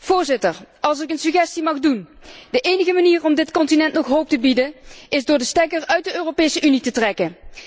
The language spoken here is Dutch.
Voorzitter, als ik een suggestie mag doen, de enige manier om dit continent nog hoop te bieden is door de stekker uit de Europese Unie te trekken.